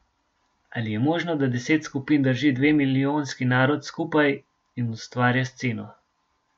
Ali je možno, da deset skupin drži dve milijonski narod skupaj in ustvarja sceno?